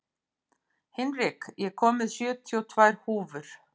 Hinrik, ég kom með sjötíu og tvær húfur!